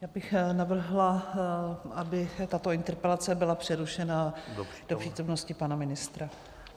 Já bych navrhla, aby tato interpelace byla přerušena do přítomnosti pana ministra.